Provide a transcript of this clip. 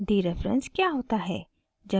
dereference क्या होता है